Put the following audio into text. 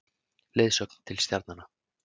Leiðsögn til stjarnanna.